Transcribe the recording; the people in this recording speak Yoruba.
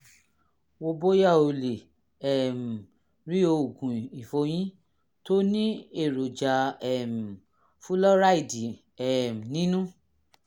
wo bóyá o lè um rí oògùn ìfọyín tó ní èròjà um fúlọ́ráìdì um nínú